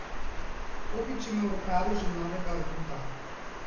Topič ima v rokavu že novega aduta.